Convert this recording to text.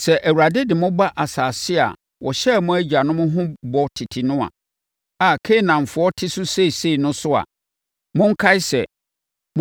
“Sɛ Awurade de mo ba asase a ɔhyɛɛ mo agyanom ho bɔ tete no a Kanaanfoɔ te so seesei no so a, monkae sɛ,